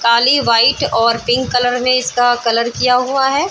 काली white और pink colour में इसका कलर किया हुआ है।